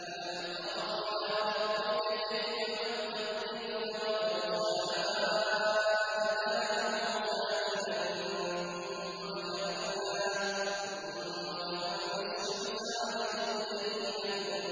أَلَمْ تَرَ إِلَىٰ رَبِّكَ كَيْفَ مَدَّ الظِّلَّ وَلَوْ شَاءَ لَجَعَلَهُ سَاكِنًا ثُمَّ جَعَلْنَا الشَّمْسَ عَلَيْهِ دَلِيلًا